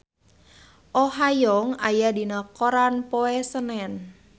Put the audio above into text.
Oh Ha Young aya dina koran poe Senen